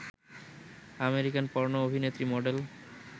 American পর্ণো অভিনেত্রী, model